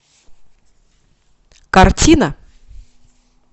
картина